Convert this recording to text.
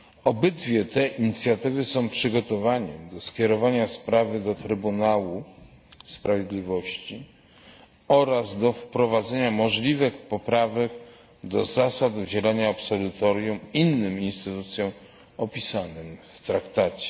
Obydwie te inicjatywy są przygotowaniem do skierowania sprawy do Trybunału Sprawiedliwości oraz do wprowadzenia możliwych poprawek do zasad udzielania absolutorium innym instytucjom opisanym w Traktacie.